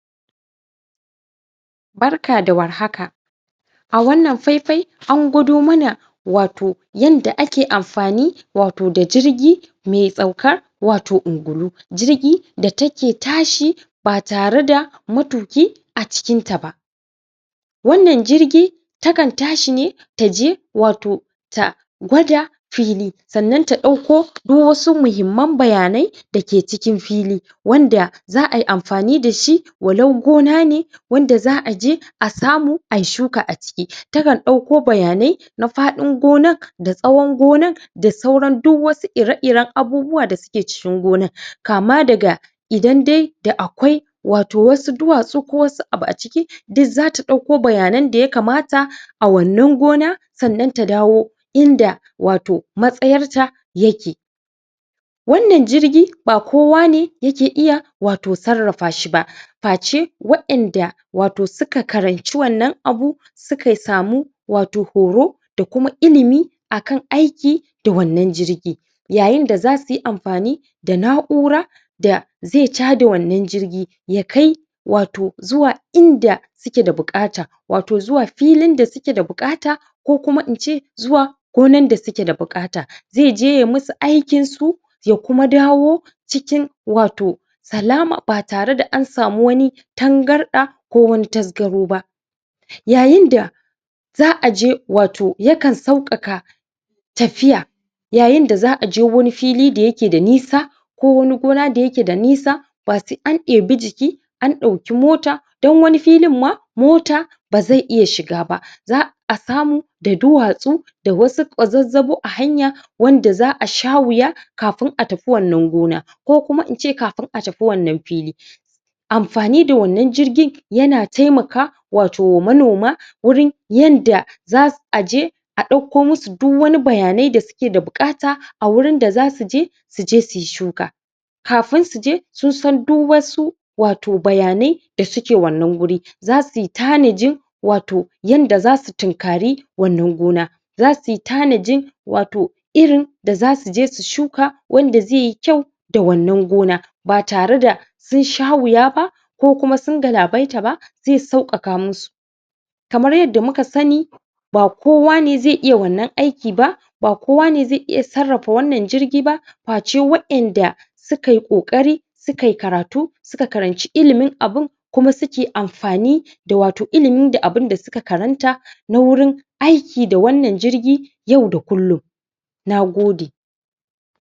barka da warhaka a wannan faifayi an gwado mana wato yanda ake amfani wato da jirgi mai saukar wato ungulu jirgi da take tashi ba tare da maturki acikin ta ba wannan jirgi takan tashi ne taje wato ta gwada fili sa'anan ta dauko kuma wasu mahimman bayanai dake cikin fili wanda za'ayi amfani dashi wa lau gona ne wanda za'aje asamu ayi shuka aciki takan dauko bayanai na fadin gonar da tsawon gonar da sauran duk wasu ire iren abubuwa dasu ke cikin gonar kama daga idan dai da akwai wato wasu duwatsu ko wasu abu aciki duk zata dauko bayanan daya kamata a wannan gona sa'anan ta dawo inda wato matsayarta yake wannan jirgi ba kowa ne yake iya wato sarrafa shiba face waiyanda wato suka karanci wannan abu sukay samu wato horo da kuma ilimi akan aiki da wannan jirgi yayinda zasuyi amfani da na'ura da ze chada wannan jirgi ya kai wato zuwa inda suke da bukata wato zuwa filin da sukeda bukata kokuma ince zuwa gonar da sukeda bukata zeje yayi musu aikinsu ya kuma dawo cikin wato salama ba tareda an samu wani tangarda ko wani tasgaro ba yayinda za'aje wato yakan saukaka tafiya yayinda za'aje wani fili dayake da nisa ko wani gona dayakeda nisa ba sai an eabi jiki an dauki mota don wani filin ma mota beze iya shiga ba za'a samu da duwatsu da wasu kwazazzabu ahanya wanda za'asha wuya kafin atafi wannan gona kokuma ince kafin atafi wannan fili amfani da wannan jirgi yana taimaka wato manoma wurin yanda zas aje adauko musu du wani bayanai dasuk keda bukata awurin da zasu je suje suyi shuka kafin suje sun san du wasu wato bayanai dasuke wannan wuri za suyi tanaji wato yanda zasu tunkari wannan gona zasuyi tanaji wato irin da zasuje su shuka wanda zeyi kyau da wannan gona ba tareda sun sha wuya ba kokuma sun galabaita ba ze saukaka musu kamar yanda muka sani ba kowa ne ze iya wannan aikin ba ba kowane ze iya sarrafa wannan jirgi ba face waiyanda sukayi kokari sukayi karatu suka karanci ilimin abun kuma suke amfani da wato ilimi da abunda suka karanta na wurin aiki da wannan jirgi yau da kullum nagode